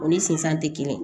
O ni sisan tɛ kelen ye